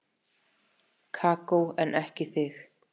Kókó en ekki þig.